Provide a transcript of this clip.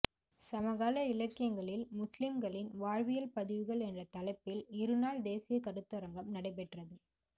சமகால இலக்கியங்களில் முஸ்லிம்களின் வாழ்வியல் பதிவுகள் என்ற தலைப்பில் இருநாள் தேசிய கருத்தரங்கம் நடைபெற்றது